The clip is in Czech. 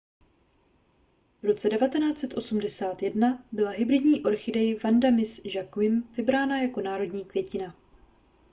v roce 1981 byla hybridní orchidej vanda miss joaquim vybrána jako národní květina